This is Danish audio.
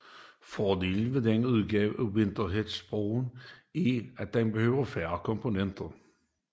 Fordelen ved denne udgave af Wheatstonebroen er at den behøver færre komponenter